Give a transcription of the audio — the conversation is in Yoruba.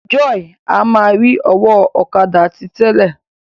Joy a má ri ọwọ ọ̀kadà ti tẹlẹ.